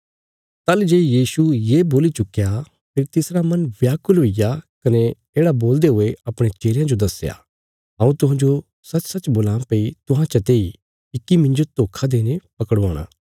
ताहली जे यीशु ये बोल्ली चुक्कया फेरी तिसरा मन व्याकुल हुईग्या कने येढ़ा बोलदे हुए अपणे चेलयां जो दस्या हऊँ तुहांजो सचसच बोलां भई तुहां चते इ इक्की मिन्जो धोखा देईने पकड़वाणा